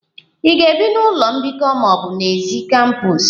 Ị ga-ebi n'ụlọ mbikọ ma ọ bụ n'èzí kampos?